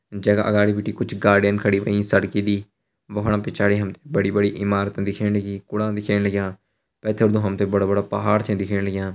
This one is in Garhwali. जगा अगाडि भिटी कुछ गाड़ियन खड़ी हुईं सर्किली वोढम पिछाड़ी हमते बड़ी-बड़ी ईमारत दिख्येण लगीं कुड़ान दिख्येण लाग्यां पैथर तो हमते बड़ा-बड़ा पहाड़ छै दिख्येण लाग्यां।